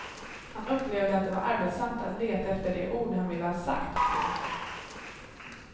Han upplevde att det var arbetsamt att leta efter de ord han ville ha sagt. punkt